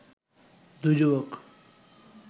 দুই যুবক